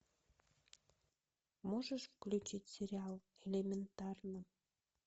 можешь включить сериал элементарно